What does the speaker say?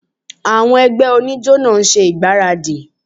Àwọn ẹgbẹ́ oníjó ń ṣe ìgbáradì